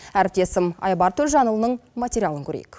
әріптесім айбар төлжанұлының материалын көрейік